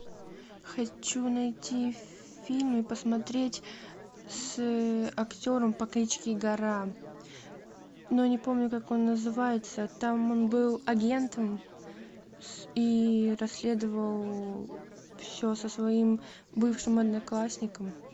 хочу найти фильм посмотреть с актером по кличке гора но не помню как он называется там он был агентом и расследовал все со своим бывшим одноклассником